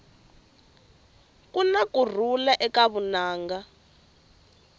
kuna kurhula eka vunanga